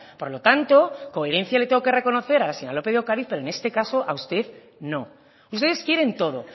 por lo tanto coherencia le tengo que reconocer a la señora lópez de ocariz pero en este caso a usted no ustedes quieren todo